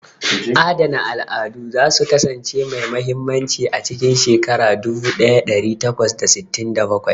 Adana al'adu za su kasance mai mahimmanci a cikin shekara dubu ɗaya ɗari takwas da sittin da bakwai.